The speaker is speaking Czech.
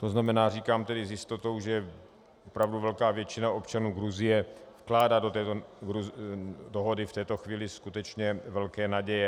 To znamená, říkám tedy s jistotou, že opravdu velká většina občanů Gruzie vkládá do této dohody v této chvíli skutečně velké naděje.